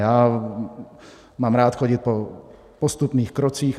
Já mám rád chodit po postupných krocích.